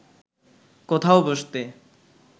কোথাও বসতে